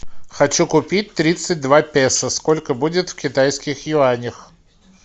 хочу купить тридцать два песо сколько будет в китайских юанях